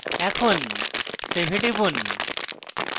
এখন save এ টিপুন